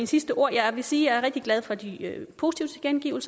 sidste ord jeg vil sige er rigtig glad for de positive